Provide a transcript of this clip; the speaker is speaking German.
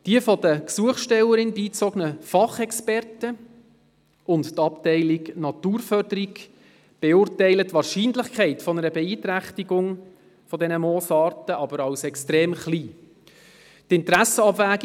Die von der Gesuchstellerin beigezogenen Fachexperten sowie die Abteilung Naturförderung beurteilen die Wahrscheinlichkeit einer Beeinträchtigung der Moosarten jedoch als extrem gering.